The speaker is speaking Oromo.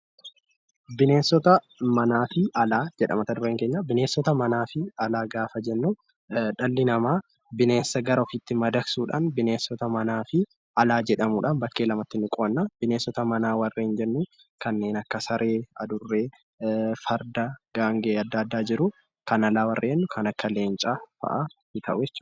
Bineensota manaa fi Alaa jedha mata-dureen keenya, bineensota manaa fi Alaa gaafa jennu dhalli namaa bineensa gara ofiitti madaqsuudhaa bineensota manaa fi Alaa jedhamuun bakkee lamatti ni qoodna. bineensa manaa warreen jennu kanneen akka saree, adurree, farda, gaangee adda addaa jiru. Kan Alaa warreen jennu Kan akka leencaa fa'a tahu.